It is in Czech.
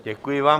Děkuji vám.